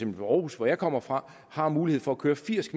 ved aarhus hvor jeg kommer fra har mulighed for at køre firs